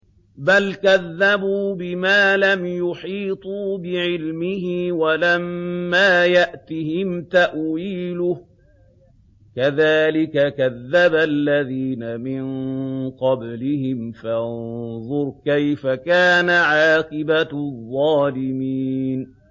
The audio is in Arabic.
بَلْ كَذَّبُوا بِمَا لَمْ يُحِيطُوا بِعِلْمِهِ وَلَمَّا يَأْتِهِمْ تَأْوِيلُهُ ۚ كَذَٰلِكَ كَذَّبَ الَّذِينَ مِن قَبْلِهِمْ ۖ فَانظُرْ كَيْفَ كَانَ عَاقِبَةُ الظَّالِمِينَ